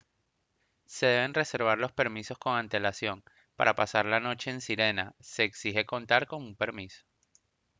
se deben reservar los permisos con antelación para pasar la noche en sirena se exige contar con un permiso